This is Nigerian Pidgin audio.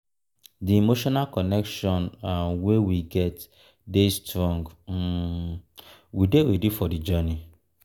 di emotional connection um wey we get um dey strong um we dey ready for the journey.